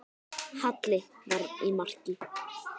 Halli var í marki.